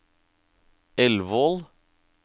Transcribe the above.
Elvål